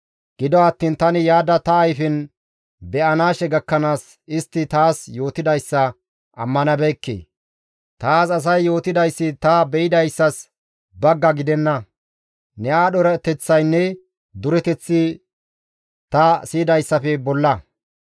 Gido attiin tani yaada ta ayfen be7anaashe gakkanaas istti taas yootidayssa ammanabeekke; taas asay yootidayssi ta be7idayssas bagga gidenna; ne aadho erateththaynne dureteththi ta siyidayssafe bolla.